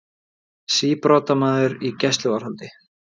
Síbrotamaður í gæsluvarðhald